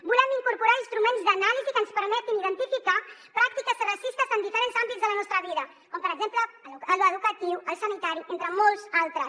volem incorporar instruments d’anàlisi que ens permetin identificar pràctiques racistes en diferents àmbits de la nostra vida com per exemple l’educatiu el sanitari entre molts altres